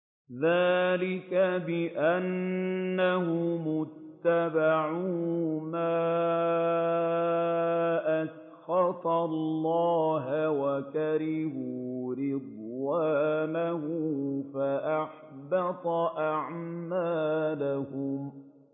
ذَٰلِكَ بِأَنَّهُمُ اتَّبَعُوا مَا أَسْخَطَ اللَّهَ وَكَرِهُوا رِضْوَانَهُ فَأَحْبَطَ أَعْمَالَهُمْ